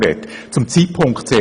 Zuerst zum Zeitpunkt